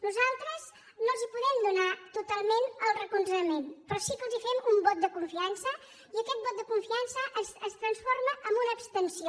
nosaltres no els podem donar totalment el recolzament però sí que els fem un vot de confiança i aquest vot de confiança es transforma en una abstenció